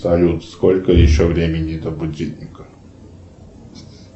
салют сколько еще времени до будильника